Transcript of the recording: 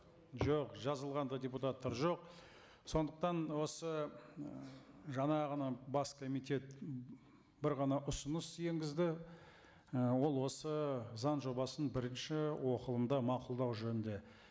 жоқ жазылған да депутаттар жоқ сондықтан осы ы жаңа ғана бас комитет бір ғана ұсыныс енгізді і ол осы заң жобасын бірінші оқылымда мақұлдау жөнінде